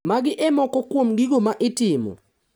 Magi e moko kuom gigo ma itimo.